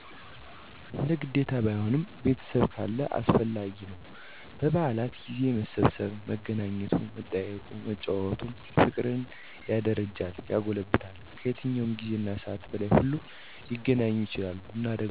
እንደ ግዴታ ባይሆንም ቤተሰብ ካለ አስፈላጊ ነው። በበአል ጊዜ መሰባሰቡ፣ መገናኘቱ መጠያየቁ፣ መጨዋወቱ፣ ፍቅርን ያደረጃል ያጎለብታል። ከየትኛውም ጊዜና ሰዓት በላይ ሁሉም ሊገናኙ ይችላሉ እና ደግሞ በአልን ብቻን ከማሳለፍ ይልቅ ቤተሰብ ካለ አንድ ላይ ተሰባስቦ ማክበር ትልቅ ደስታ ቆንጆ የበአል ትዝታን ይፈጥርልናል። ብቻን ከሆነ ግን ድብርትና ትካዜ በተሞላ መልኩ ተከፍተን በአሉም ያልፋል። እንደ አጠቃላይ ብቻን ደስ አይልም። ቤተሰብ ካለ ከቤተሰብ ጋር ቢሆን ጥሩ ነው።